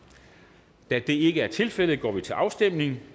der det ikke er tilfældet går vi til afstemning